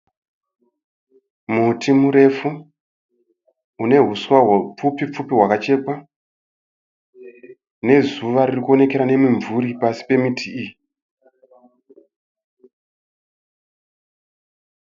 Muti murefu. Une huswa hupfupipfupi hwakachekwa nezuva riri kuonekera nemimvuri pasi pemiti iyi.